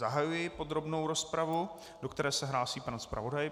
Zahajuji podrobnou rozpravu, do které se hlásí pan zpravodaj.